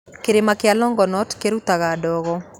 Kĩrĩma kĩa Longonot kĩrutaga ndogo